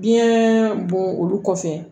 Biyɛn bon olu kɔfɛ